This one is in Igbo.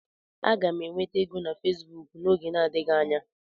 Aga m enweta ego na Facebook n'oge adịghị anya.